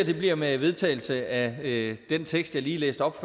det bliver med vedtagelse af den tekst jeg lige læste op